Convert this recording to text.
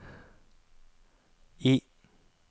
I